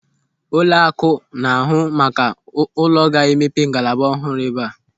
Ụlọakụ na-ahụ maka ụlọ ga-emepe ngalaba ọhụrụ eba a.